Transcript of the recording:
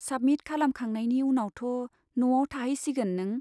Submit खालामखांनायनि उनावथ' न'आव थाहैसिगोन नों ?